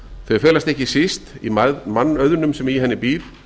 þau felast ekki síst í mannauðnum sem í henni býr